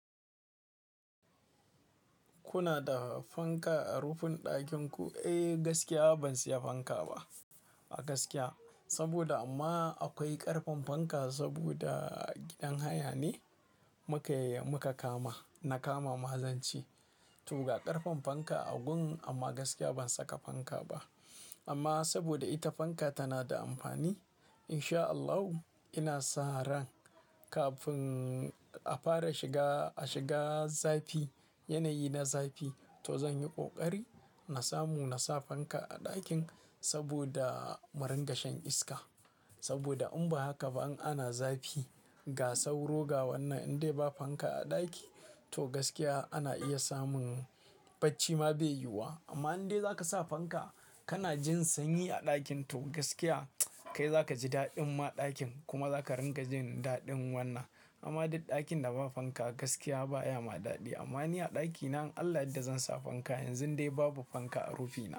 Kuna da fanka a rufin ɗakin ku? Eh gaskiya ban saya fanka ba a gaskiya. Saboda amma akwai ƙarfen fanka saboda gidan haya ne muka kama, na kama ma zan ce. To ga ƙarfen fanka a gun amma gaskiya ban saka fanka ba. Amma saboda ita fanka tana da amfani in sha Allahu ina sa ran kafin a fara shiga, a shiga zafi yanayi na zafi to zan yi ƙoƙari na samu na sa fanka a ɗakin saboda muringashen iska. Saboda in ba haka ba in ana zafi ga sauro ga wannan in dai ba fanka a ɗaki to gaskiya ana iya samun bacci ma bai yiwuwa. Amma in dai za ka sa fanka kana jin sanyi a ɗakin to gaskiya kai za ka ji daɗin ma ɗakin kuma za ka ringa jin daɗin wannan. Amma duk ɗakin da ba fanka gaskiya baya ma daɗi. Amma ni a ɗakina in Allah ya yadda zan sa fanka yanzun dai babu fanka a rufina.